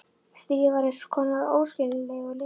Stríðið var eins konar óskiljanlegur leikur.